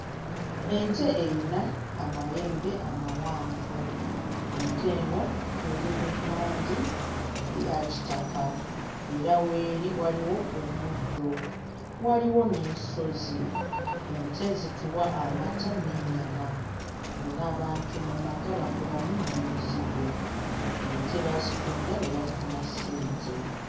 Ente eyina amayembe amawanvu. Ente eno eri mu langi eya kitaka era w'eri waliwo omuddo. Waliwo n'ensozi ente zituwa amata n'ennyama era abantu mu mata bakolamu n'omuzigo. Ente bazitunda ne bafuna ssente.